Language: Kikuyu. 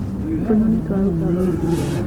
tũnyoni tũraruta thauti njega